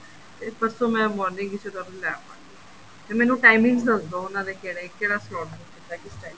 ਤੇ ਪਰਸੋ ਮੈ morning ਵਿੱਚ ਲੈ ਆਵਾਂਗੀ ਤੇ ਮੈਨੂੰ timings ਦੱਸਦੋ ਉਹਨਾ ਦੇ ਕਿਹੜੇ ਕਿਹੜਾ slot ਬੁੱਕ ਕੀਤਾ ਕਿਸ time